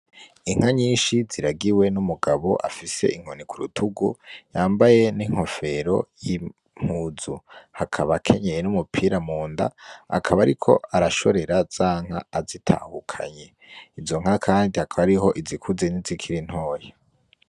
Inka nyishi ziragiwe n' umugabo afise inkoni kurutugu yambaye n' inkofero y' impuzu akaba akenyeye n' umupira munda akaba ariko arashorera za nka azitahukanye, izo nka kandi hakaba hariho izikuze nizikiri ntoya.